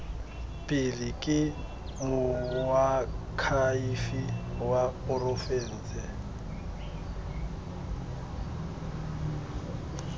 pele ke moakhaefe wa porofense